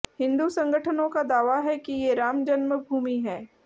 हिन्दू संगठनों का दावा है कि ये राम जन्म भूमि है